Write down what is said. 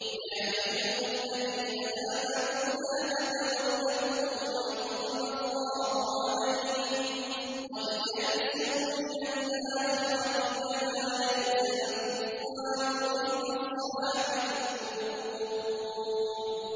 يَا أَيُّهَا الَّذِينَ آمَنُوا لَا تَتَوَلَّوْا قَوْمًا غَضِبَ اللَّهُ عَلَيْهِمْ قَدْ يَئِسُوا مِنَ الْآخِرَةِ كَمَا يَئِسَ الْكُفَّارُ مِنْ أَصْحَابِ الْقُبُورِ